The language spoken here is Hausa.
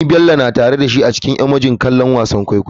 Ni Bello na tare da shi a cikin emoji don kallon ci gaban wasan kwaikwayo.